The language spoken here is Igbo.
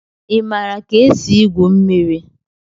Ị maara ka esi igwu mmiri?